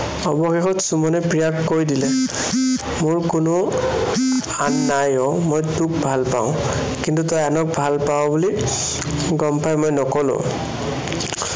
অৱশেষত সুমনে প্ৰিয়াক কৈ দিলে, মোৰ কোনো আন নাই অ, মই তোক ভালপাওঁ। কিন্তু তই আনক ভালপাৱ বুলি গম পাই মই নক'লো।